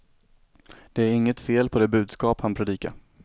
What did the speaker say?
Det är inget fel på det budskap han predikar.